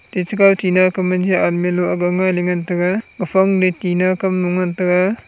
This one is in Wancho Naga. tachi kaw tina kame je army lo akga ngailey ngan taga gaphang leu tina kam nu ngan taga.